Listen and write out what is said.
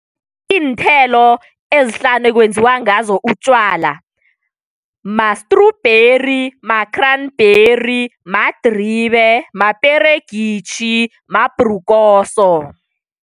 Iinthelo ezihlanu ekwenziwa ngazo utjwala. Mastrubheri, makhranbheri, madribe, maperegitjhi, mabhrukoso.